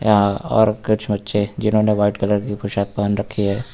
और कुछ बच्चे जिन्होने व्हाइट कलर की पोशाक पहन रखी है।